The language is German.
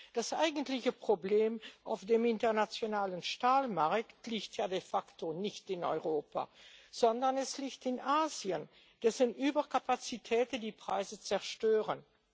Das eigentliche Problem auf dem internationalen Stahlmarkt liegt ja de facto nicht in Europa, sondern es liegt in Asien, dessen Überkapazitäten die Preise zerstören.